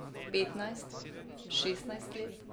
Petnajst, šestnajst let.